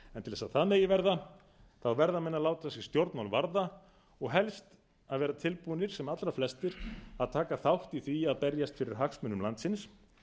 að það megi verða verða menn að láta sig stjórnmál varða og helst að vera tilbúnir sem allra flestir að taka þátt í því að berjast fyrir hagsmunum landsins